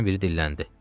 Onlardan biri dilləndi: